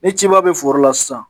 Ni ciba be foro la sisan